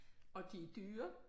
Og de er dyre